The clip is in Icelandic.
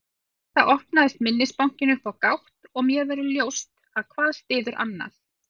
Við þetta opnast minnisbankinn upp á gátt og mér verður ljóst að hvað styður annað.